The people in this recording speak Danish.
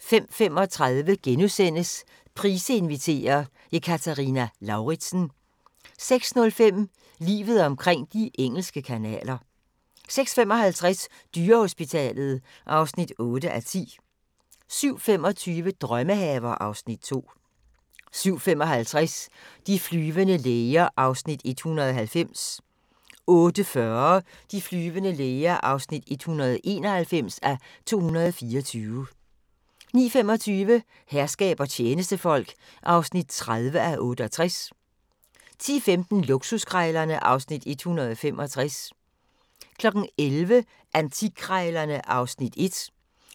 05:35: Price inviterer – Ekaterina Lauritsen * 06:05: Livet omkring de engelske kanaler 06:55: Dyrehospitalet (8:10) 07:25: Drømmehaver (Afs. 2) 07:55: De flyvende læger (190:224) 08:40: De flyvende læger (191:224) 09:25: Herskab og tjenestefolk (30:68) 10:15: Luksuskrejlerne (Afs. 165) 11:00: Antikkrejlerne (Afs. 1)